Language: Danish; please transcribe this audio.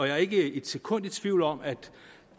er ikke et sekund i tvivl om at